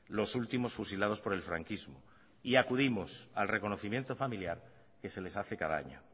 los últimos fusilados por el franquismo y acudimos al reconocimiento familiar que se les hace cada año